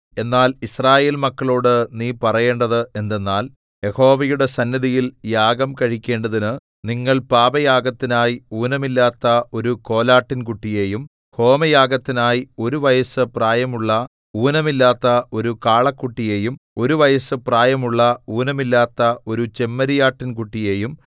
എന്നാൽ യിസ്രായേൽ മക്കളോടു നീ പറയേണ്ടത് എന്തെന്നാൽ യഹോവയുടെ സന്നിധിയിൽ യാഗം കഴിക്കേണ്ടതിനു നിങ്ങൾ പാപയാഗത്തിനായി ഊനമില്ലാത്ത ഒരു കോലാട്ടിൻകുട്ടിയെയും ഹോമയാഗത്തിനായി ഒരു വയസ്സു പ്രായമുള്ള ഊനമില്ലാത്ത ഒരു കാളക്കുട്ടിയെയും ഒരു വയസ്സു പ്രായമുള്ള ഊനമില്ലാത്ത ഒരു ചെമ്മരിയാട്ടിൻകുട്ടിയെയും